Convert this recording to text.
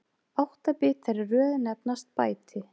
Átta bitar í röð nefnast bæti.